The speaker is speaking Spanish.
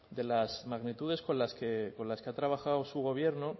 de las magnitudes con las que ha trabajado su gobierno